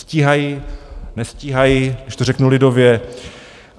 Stíhají, nestíhají - když to řeknu lidově?